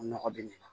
Nɔgɔ be na